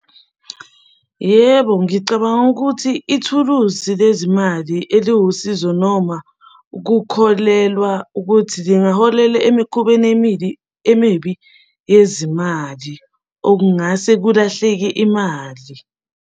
Yebo, ngicabanga ukuthi ithuluzi lezimali eliwusizo noma kukholelwa ukuthi lingaholela emikhubeni emibi yezimali, okungase kulahleke imali.